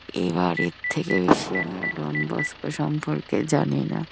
এবার এর থেকে বেশী আমি আর ডন বস্কো সম্পর্কে জানিনা।